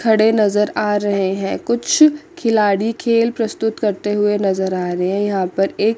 खड़े नजर आ रहे हैं कुछ खिलाड़ी खेल प्रस्तुत करते हुए नजर आ रहे हैं यहां पर एक--